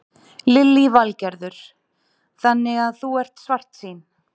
Lillý Valgerður: Þannig að þú ert svartsýn?